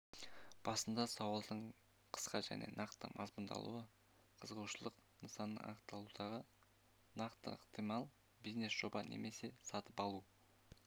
басында сауалдың қысқа және нақты мазмұндалуы қызығушылық нысанын анықтаудағы нақтылық ықтимал бизнес-жоба немесе сатып алу